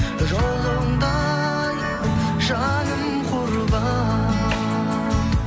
жолыңда ай жаным құрбан